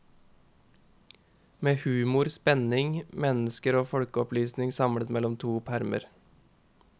Med humor, spenning, mennesker og folkeopplysning samlet mellom to permer.